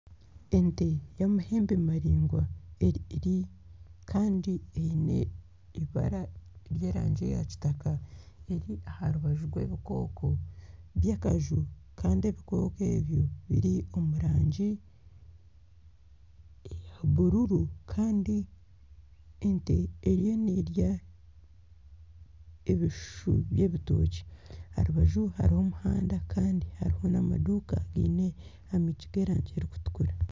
Ente y'amahembe maraingwa kandi eine eibaara ry'erangi ya kitaka eri aha rubaju rw'ebikooko by'akaju. Kandi ebikooko ebyo biri omu rangi eya bururu. Kandi ente eriyo nerya ebishushu by'ebitookye aha rubaju hariho omuhanda kandi hariho n'amaduuka againe enyigi z'erangi erikutukura.